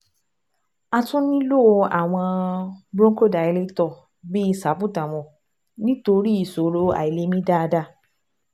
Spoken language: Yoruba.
A tún nílò àwọn bronchodilator bí salbutamol nítorí ìṣòro àìlè mí dáadáa